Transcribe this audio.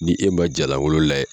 Ni e man jala wolo la